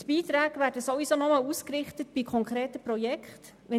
Die Beiträge werden ohnehin nur bei konkreten Projekten ausgerichtet.